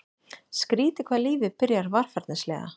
Skrýtið hvað lífið byrjar varfærnislega.